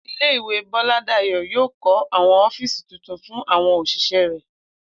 Ilé-ìwé Bó̩ládàyó̩ yóò kó̩ àwo̩n ó̩fíìsì tuntun fún àwo̩n òs̩ìs̩é̩ rè̩